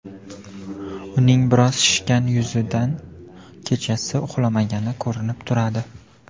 Uning biroz shishgan yuzidan kechasi uxlamagani ko‘rinib turadi.